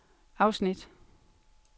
afsnit